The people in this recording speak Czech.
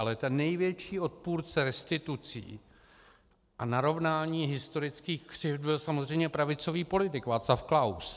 Ale ten největší odpůrce restitucí a narovnání historických křivd byl samozřejmě pravicový politik Václav Klaus.